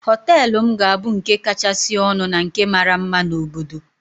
Hóteélụ̀ m ga-abụ nke kachasị ọnụ na nke mara mma na obodo